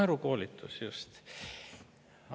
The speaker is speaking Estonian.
Naerukoolitus, just!